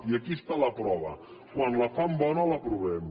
i aquí està la prova quan la fan bona l’aprovem